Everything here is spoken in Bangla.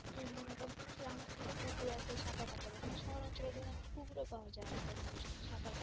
এই মনে করো যেগ্রাম অঞ্চলে পুকুর আছে সাঁতার কাটাবে কিন্তু শহর অঞ্চলে তো তেমন পুকুরও পাওয়া যায়না যে মানুষ সাঁতার